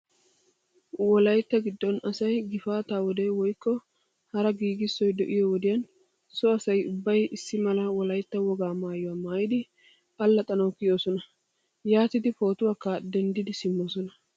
Wolayitta giddon asay gifaataa wode woykke hara giigissoy de"iyoo wodiyan so asay ubbay issi mala wolaytta wogaa maayuwa maayidi allaxxanawu kiyoosona. Yaatidi pootuwaakka denddidi simmoosona.